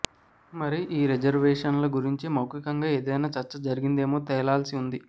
మరి ఈ రిజర్వేషన్ల గురించి మౌఖికంగా ఏదైనా చర్చ జరిగిందోమో తేలాల్సి ఉంది